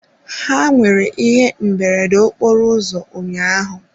Ha nwere ihe mberede nke okporoụzọ ụnyaahụ.